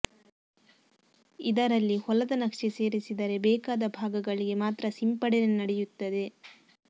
ಇದರಲ್ಲಿ ಹೊಲದ ನಕ್ಷೆ ಸೇರಿಸಿದರೆ ಬೇಕಾದ ಭಾಗಗಳಿಗೆ ಮಾತ್ರ ಸಿಂಪಡಣೆ ನಡೆಯುತ್ತದೆ